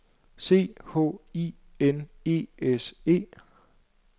C H I N E S E